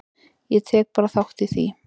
Ég tek bara þátt í því.